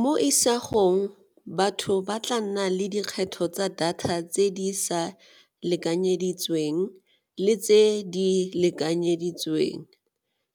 Mo isagong batho ba tla nna le dikgetho tsa data tse di sa lekanyeditsweng le tse di lekanyeditsweng,